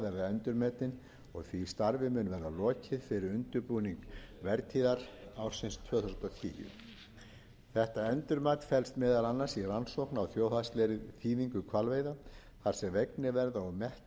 endurmetinn og því starfi mun verða lokið fyrir undirbúning vertíðar ársins tvö þúsund og tíu þetta endurmat felst meðal annars í rannsókn á þjóðhagslegri þýðingu hvalveiða þar sem vegnir